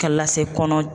Ka lase kɔnɔ